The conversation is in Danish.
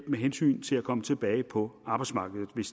med hensyn til at komme tilbage på arbejdsmarkedet hvis